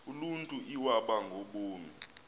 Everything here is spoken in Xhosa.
uluntu iwaba ngaboni